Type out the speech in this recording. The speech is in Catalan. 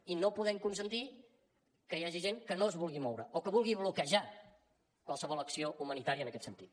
i no podem consentir que hi hagi gent que no es vulgui moure o que vulgui bloquejar qualsevol acció humanitària en aquest sentit